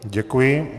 Děkuji.